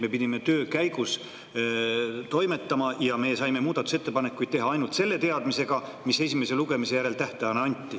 Me pidime töö käigus toimetama ja saime muudatusettepanekuid teha selle teadmisega, esimese lugemise järel antud tähtaeg.